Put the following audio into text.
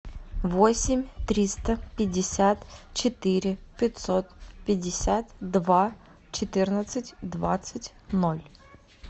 восемь триста пятьдесят четыре пятьсот пятьдесят два четырнадцать двадцать ноль